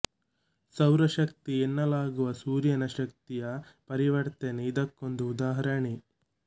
ಸೌರ ಶಕ್ತಿ ಎನ್ನಲಾಗುವ ಸೂರ್ಯನ ಶಕ್ತಿಯ ಪರಿವರ್ತನೆ ಇದಕ್ಕೊಂದು ಉದಾಹರಣೆ